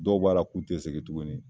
Dɔw b'a la k'u tɛ sɛgin tuguni.